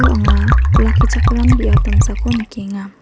Uo anga olakkichakram biap damsako nikenga.